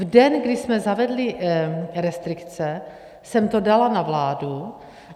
V den, kdy jsme zavedli restrikce, jsem to dala na vládu.